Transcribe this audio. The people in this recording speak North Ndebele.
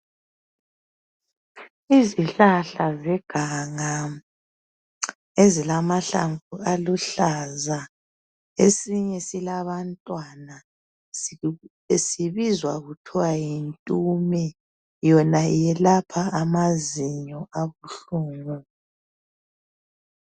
Izihlahla zeganga ezilamahlamvu aluhlaza esinye silabantwana sibizwa kuthiwa yintume, yona yelapha amazinyo abuhlungu.